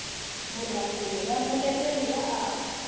marungulo ya muleteri ya aka